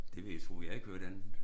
Det vil jeg tro jeg har ikke hørt andet